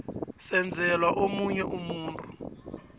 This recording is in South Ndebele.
senzelwa omunye umuntu